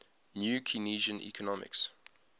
new keynesian economics